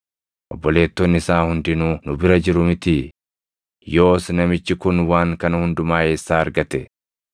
Obboleettonni isaa hundinuu nu bira jiru mitii? Yoos namichi kun waan kana hundumaa eessaa argate?”